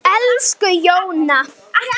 Elsku Jóna.